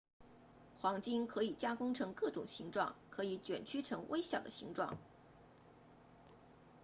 黄金可以加工成各种形状可以卷曲成微小的形状